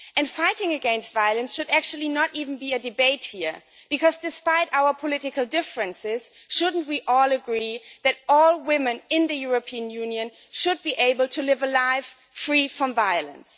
And fighting against violence should actually not even be a debate here, because, despite our political differences, shouldn't we all agree that all women in the European Union should be able to live a life free from violence?